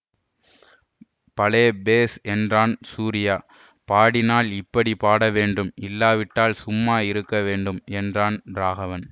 பலே பேஷ் என்றான் சூரியா பாடினால் இப்படி பாடவேண்டும் இல்லாவிட்டால் சும்மா இருக்க வேண்டும் என்றான் ராகவன்